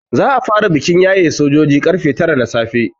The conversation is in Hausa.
Za a fara bikin yaye sojoji karfe tara na safe.